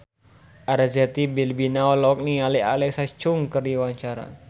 Arzetti Bilbina olohok ningali Alexa Chung keur diwawancara